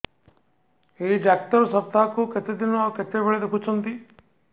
ଏଇ ଡ଼ାକ୍ତର ସପ୍ତାହକୁ କେତେଦିନ ଆଉ କେତେବେଳେ ଦେଖୁଛନ୍ତି